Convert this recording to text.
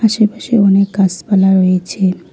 আশেপাশে অনেক গাসপালা রয়েছে।